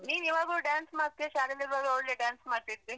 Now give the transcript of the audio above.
ನೀನ್ ಇವಾಗ್ಲೂ dance ಮಾಡ್ತಿಯಾ? ಶಾಲೆಲ್ ಇರುವಾಗ ಒಳ್ಳೆ dance ಮಾಡ್ತಿದ್ದೆ.